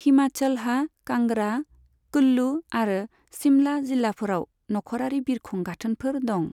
हिमाचलहा कांगड़ा, कुल्लु आरो शिमला जिल्लाफोराव नखरारि बिरखं गाथोनफोर दं।